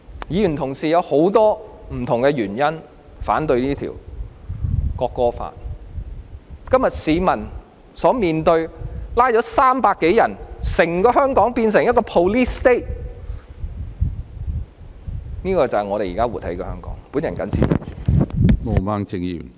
議員同事有很多不同原因反對這項《條例草案》，今天市民所面對的情況是已有300多人被捕，整個香港變成 police state， 這就是我們現正活在的香港。